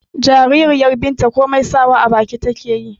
jaririyar binta komar sawa a baki take